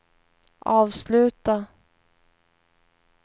avsluta